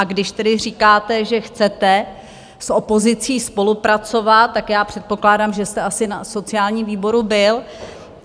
A když tedy říkáte, že chcete s opozicí spolupracovat, tak já předpokládám, že jste asi na sociálním výboru byl.